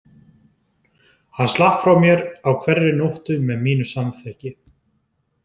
Hann slapp frá mér á hverri nóttu með mínu samþykki.